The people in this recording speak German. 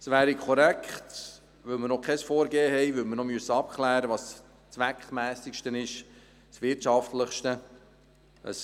Dieses wäre korrekt, weil wir noch kein Vorgehen haben und noch abklären müssen, was am zweckmässigsten und am wirtschaftlichsten ist.